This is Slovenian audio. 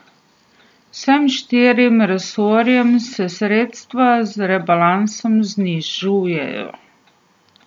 Vsem štirim resorjem se sredstva z rebalansom znižujejo.